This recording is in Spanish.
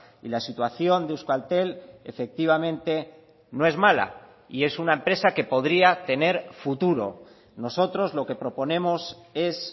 y la situación de euskaltel efectivamente no es mala y es una empresa que podría tener futuro nosotros lo que proponemos es